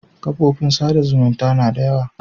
Kofofin sa da zumunta na da yawa